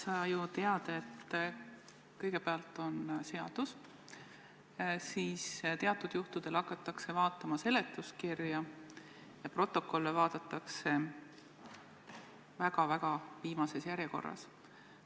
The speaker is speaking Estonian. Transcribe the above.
Sa ju tead, et kõigepealt on seadus, siis teatud juhtudel vaadatakse seletuskirja ja protokolle vaadatakse väga-väga viimases järjekorras.